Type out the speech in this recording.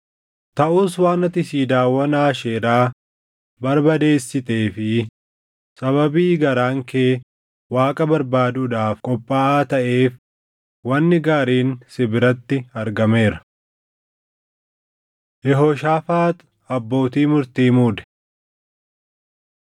Taʼus waan ati siidaawwan Aasheeraa barbadeessitee fi sababii garaan kee Waaqa barbaaduudhaaf qophaaʼaa taʼeef wanni gaariin si biratti argameera.” Yehooshaafaax Abbootii Murtii Muude